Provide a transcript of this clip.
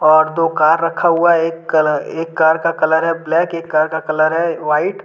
और दो कार रखा हुआ एक कलर एक कार का कलर है ब्लैक एक कार का कलर है व्हाइट --